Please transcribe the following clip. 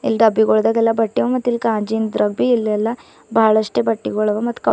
ಡಬ್ಬಿಗೋಲ್ಡ್ಗೆಲ್ಲ ಬಟ್ಟಿ ಅವ ಮತ್ ಇಲ್ಲ ಕಾಜಿನ್ ದ್ರಬ್ಬಿ ಇಲೆಲ್ಲ ಬಹಳಷ್ಟು ಬಟ್ಟಿಗೊಳವ ಮತ್--